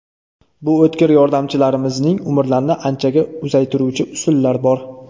Bu o‘tkir yordamchilarimizning umrlarini anchaga uzaytiruvchi usullar bor.